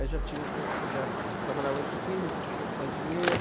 Aí já tinha um pouco, já já trabalhava entre o Nitroquímica, tinha um pouco mais de dinheiro.